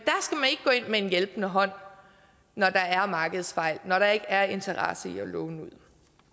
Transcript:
ikke med en hjælpende hånd når der er markedsfejl når der ikke er interesse i at låne ud